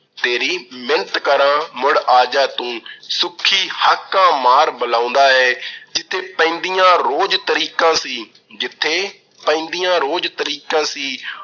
ਤੇਰੀ ਮਿੰਨਤ ਕਰਾਂ ਮੁੜ ਆ ਜਾ ਤੂੰ, ਸੁੱਖੀ ਹਾਕਾਂ ਮਾਰ ਬਲਾਉਂਦਾ ਐ। ਜਿੱਥੇ ਪੈਂਦੀਆਂ ਰੋਜ਼ ਤਰੀਕਾਂ ਸੀ, ਜਿੱਥੇ ਪੈਂਦੀਆਂ ਰੋਜ਼ ਤਰੀਕਾਂ ਸੀ,